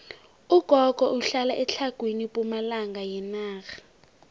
ugogo uhlala etlhagwini pumalanga yenarha